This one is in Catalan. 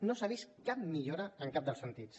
no s’ha vist cap millora en cap dels sentits